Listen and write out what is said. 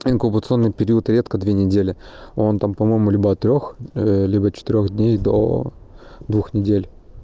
инкубационный период редко две недели он там по-моему либо от трез либо четырёх дней до двух недель